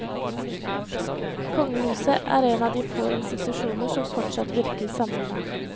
Kongehuset er en av de få institusjoner som fortsatt virker samlende.